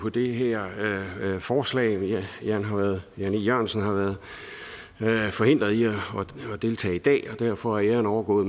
på det her forslag herre jan e jørgensen har været forhindret i at deltage i dag og derfor er æren overgået